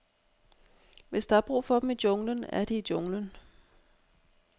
Hvis der er brug for dem i junglen, er de i junglen.